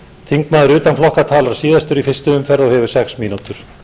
þingmaður utan flokka talar síðastur í fyrstu umferð og hefur sex mínútur